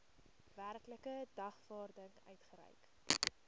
werklike dagvaarding uitgereik